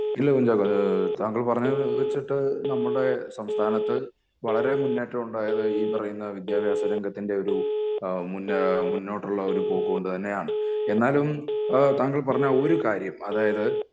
ഇല്ല താങ്കൾ പറഞ്ഞത് വെച്ചിട്ട് നമ്മുടെ സംസ്ഥാനത്ത് വളരേ മുന്നേറ്റമുണ്ടായത് ഈ പറയുന്ന വിദ്യാഭ്യാസ രംഗത്തിൻ്റെ ഒരു എഹ് മുന്നേ മുന്നോട്ടുള്ള ഒരു പോക്ക് കൊണ്ട് തന്നെ ആണ് എന്നാലും എഹ് താങ്കൾ പറഞ്ഞ ഒരു കാര്യം അതായത്